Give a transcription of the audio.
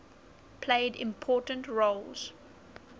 played important roles